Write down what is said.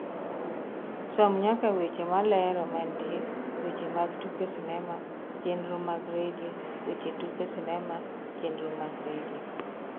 som nyaka weche malero mantie weche mag tuke sinema chenro mag redio weche tuke sinema chenro mag redio